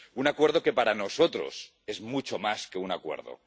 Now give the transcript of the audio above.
Un acuerdo que para nosotros es mucho más que un acuerdo.